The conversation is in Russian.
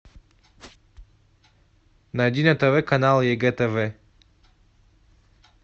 найди на тв канал егэ тв